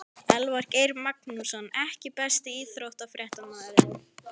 Elvar Geir Magnússon EKKI besti íþróttafréttamaðurinn?